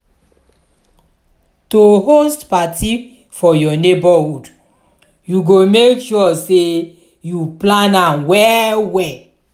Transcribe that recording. to host parti for your neighbourhood you go make sure say you plan am well well